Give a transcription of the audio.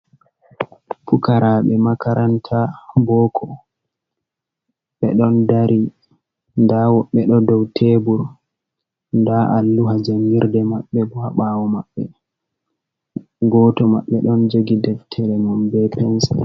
Pukarabe makaranta boko, beɗon dari .Nda woɓɓe do dow tebur, nda a luha jangirde maɓɓe boa ha bawo maɓɓe, goto maɓɓe ɗon jogi deftere nom be pensir